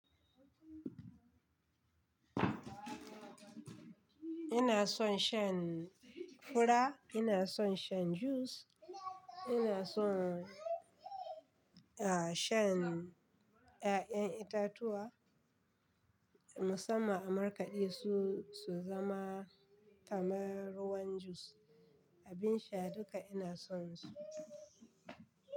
Ina son shan fura, ina son shan juice ina son a shan ƴaƴan itatuwa musamman amarkadi su su zama kamar ruwan jus. Abin sha duka ina sonsu.